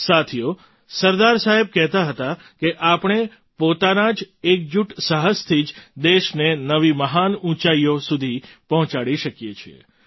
સાથીઓ સરદાર સાહેબ કહેતા હતા કે આપણે પોતાના એકજુટ સાહસથી જ દેશને નવી મહાન ઊંચાઈઓ સુધી પહોંચાડી શકીએ છીએ